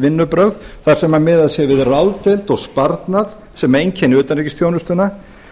vinnubrögð þar sem miðað sé við ráðdeild og sparnað sem einkenni utanríkisþjónustuna